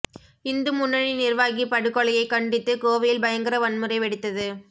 இந்து முன்னணி நிர்வாகி படுகொலையை கண்டித்து கோவையில் பயங்கர வன்முறை வெடித்தது